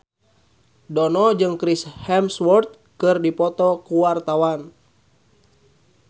Dono jeung Chris Hemsworth keur dipoto ku wartawan